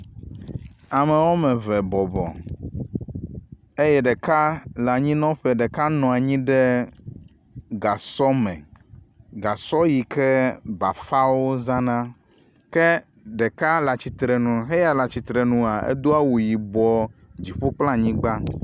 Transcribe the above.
Ame wɔme eve bɔbɔ eye ɖeka le anyinɔƒe. Ɖeka nɔ anyi ɖe gasɔ me. Gasɔ yi ke bafawo zana ke ɖeka le atsitre nu heya le atsitre nua edo awu yibɔ dziƒo kple anyigba.